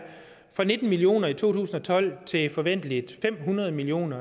fra nitten million kroner i to tusind og tolv til forventeligt fem hundrede million